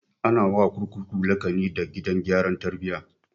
Ana wa kurkuku laƙani da gidan gyaran tarbiya